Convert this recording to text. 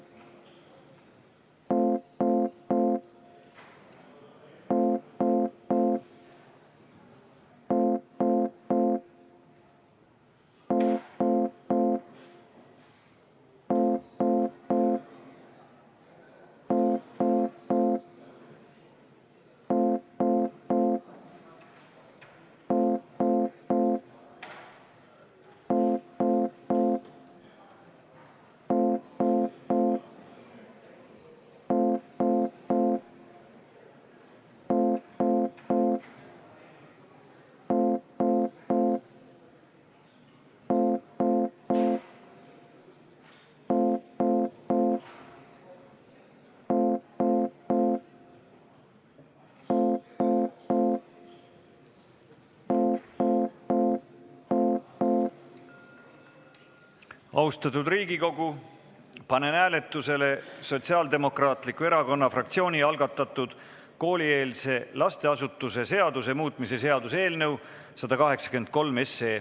Austatud Riigikogu, panen hääletusele Sotsiaaldemokraatliku Erakonna fraktsiooni algatatud koolieelse lasteasutuse seaduse muutmise seaduse eelnõu 183.